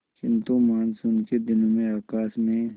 किंतु मानसून के दिनों में आकाश में